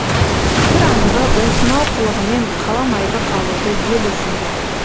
бір анығы осынау қылығымен қаламайды қалуды ел есінде